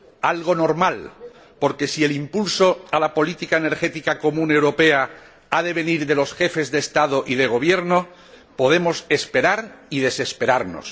algo normal, porque si el impulso a la política energética común europea ha de venir de los Jefes de Estado y de Gobierno, podemos esperar y desesperarnos.